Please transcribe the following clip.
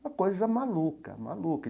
Uma coisa maluca, maluca.